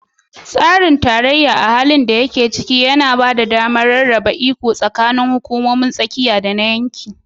Tsarin tarayya, a halin da yake ciki, yana ba da damar rarraba iko tsakanin hukumomin tsakiya da na yanki